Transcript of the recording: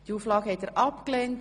Sie haben Auflage 4 abgelehnt.